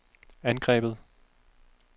angrebet